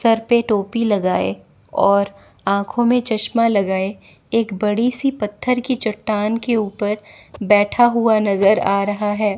Sir पे टोपी लगाए और आंखों में चश्मा लगाए एक बड़ी सी पत्थर की चट्टान के ऊपर बैठा हुआ नजर आ रहा है।